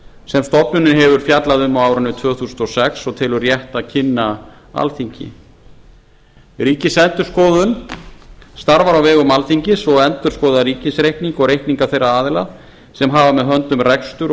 sem stofnunin hefur fjallað um á árinu tvö þúsund og sex og telur rétt að kynna alþingi ríkisendurskoðun starfar á vegum alþingis og endurskoðar ríkisreikning og reikninga þeirra aðila sem hafa með höndum rekstur og